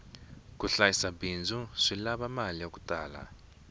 ku hlayisa bindzu swi lava mali yaku tala